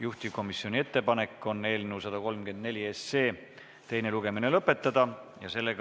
Juhtivkomisjoni ettepanek on eelnõu 134 teine lugemine lõpetada.